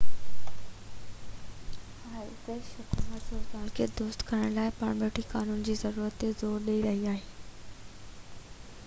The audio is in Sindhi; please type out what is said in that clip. آئرش حڪومت صورتحال کي درست ڪرڻ لاءِ پارلياماني قانون جي ضرورت تي زور ڏئي رهي آهي